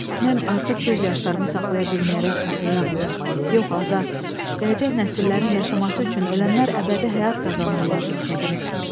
Mən artıq göz yaşlarımı saxlaya bilməyərək ağlaya-ağlaya, yox azad, gələcək nəsillərin yaşaması üçün ölənlər əbədi həyat qazanırlar, dedim.